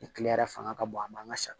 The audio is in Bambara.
Ni kile yɛrɛ fanga ka bon an man ka sa